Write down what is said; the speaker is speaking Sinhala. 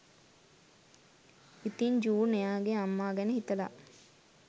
ඉතින් ජූන් එයාගෙ අම්මා ගැන හිතලා